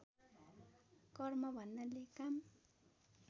कर्म भन्नाले काम